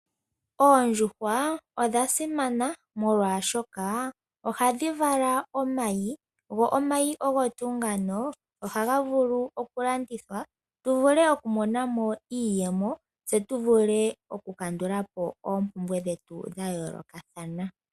Oondjuhwa odha simana molwashoka ohadhi vala omayi, go omayi ogo tuu ngano, ohaga vulu okulandithwa tu vule okumona mo iiyemo, tse tu vule okukandula po oompumbwe dhetu dha yoolokathana